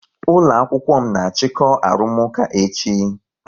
Ụlọ akwụkwọ m na achiko arụmụka echi